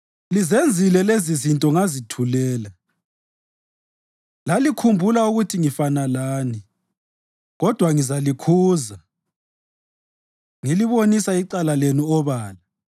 Lizenzile lezizinto ngazithulela; lalikhumbula ukuthi ngifana lani. Kodwa ngizalikhuza ngilibonisa icala lenu obala.